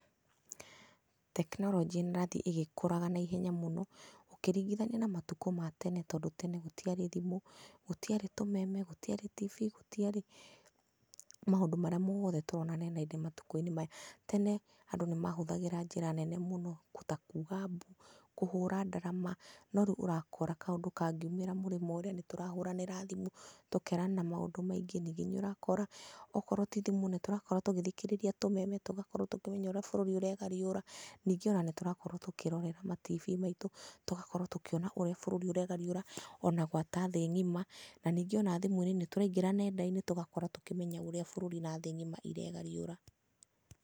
Tekinoronjĩ nĩ ĩrathiĩ ĩgĩkũraga na ihenya mũno, ũkĩringithania na matukũ ma tene tondũ tene gũtiarĩ thimũ, gũtiarĩ tũmeme, gũtiarĩ TV gũtiarĩ maũndũ marĩa mothe tũrona nenda-inĩ matukũ maya. Tene andũ nĩ mahũtahgĩra njĩra nene mũno ta kuga mbu, kũhũra ndarama. No rĩu ũrakora kaundũ kangiumĩra mũrĩmo ũrĩa nĩ tũrahũranĩra thimũ tũkerana maũndũ maingĩ, ningĩ nĩ ũrakora okorwo ti thimũ nĩ tũrakorwo tũgĩthikĩrĩria tumeme. Tũgakorwo tũkĩmenya ũrĩa bũrũri ũregariũra. Ningĩ ona nĩ tũrakorwo tũkĩrora ma TV maitũ tũgakorwo tũkĩona ũrĩa bũrũri ũregariũra ona ta thĩ ng'ima. Na ningĩ ona thimũ-inĩ nĩ tũraingĩra nenda-inĩ tũgakorwo tũkĩmenya ũrĩa bũrũri na thĩ ng'ima iregariũra.